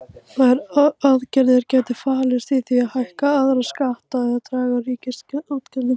Þær aðgerðir gætu falist í því að hækka aðra skatta eða draga úr ríkisútgjöldum.